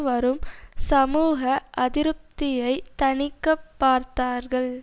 வரும் சமூக அதிருப்தியை தணிக்க பார்த்தார்கள்